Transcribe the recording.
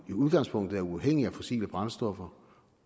i udgangspunktet er uafhængig af fossile brændstoffer